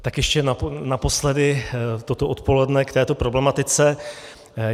Tak ještě naposledy toto odpoledne k této problematice.